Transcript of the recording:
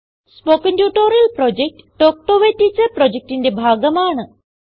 spoken tutorial project talk to a teacher പ്രൊജക്റ്റിന്റെ ഭാഗമാണ്